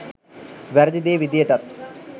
වැරදි දේ විදියටත්